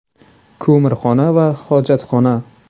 Ko‘mirxona va hojatxona.